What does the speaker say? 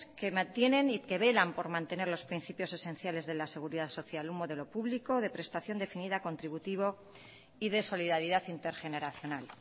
que mantienen y que velan por mantener los principios esenciales de la seguridad social un modelo público de prestación definida contributivo y de solidaridad intergeneracional